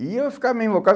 E eu ficava meio invocado.